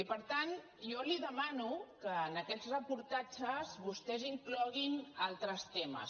i per tant jo li demano que en aquests reportatges vostès hi incloguin altres temes